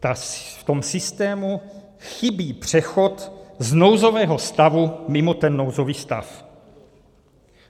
V tom systému chybí přechod z nouzového stavu mimo ten nouzový stav.